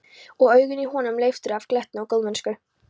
Og augun í honum leiftruðu af glettni og góðmennsku.